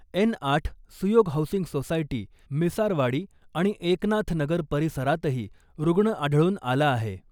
N आठ Suyog housing society , Misarwadi , आणि एकनाथ नगर परिसरातही रुग्ण आढळून आला आहे .